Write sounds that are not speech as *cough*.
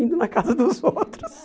Indo na casa dos outros. *laughs*